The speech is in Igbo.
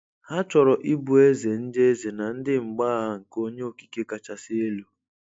Ha chọrọ ịbụ ézè ndị ézè na ndị mgbagha nke onye okike kachasị elu.